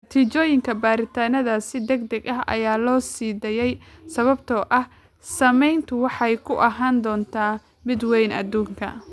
Natiijooyinka baaritaannadaas si degdeg ah ayaa loo sii daayay sababtoo ah saameyntoodu waxay ku ahaan doontaa mid weyn adduunka.